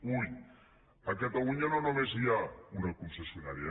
ull a catalunya no només hi ha una concessionària